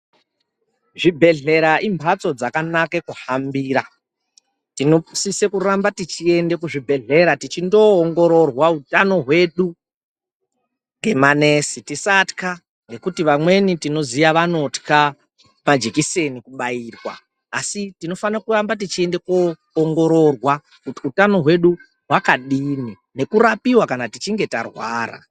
Zvibhedhlera imphatso dzakanake kuhambira tinosise kuramba tichiende kuzvibhedhlera tichindoongororwa utano hwedu ngemanesi. Tisathwa ngekuti vamweni tinoziya vanothwa majikiseni kubairwa, asi tinofanira kuramba tichienda koongororwa kuti utano hwedu hwakadini, nekurapiwa kana tichinge tarwara.